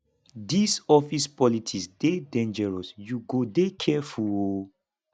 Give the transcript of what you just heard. dis office politics dey dangerous you go dey careful o